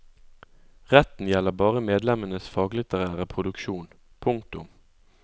Retten gjelder bare medlemmenes faglitterære produksjon. punktum